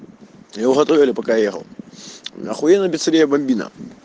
его готовили пока ехал ахуенная пиццерия бамбино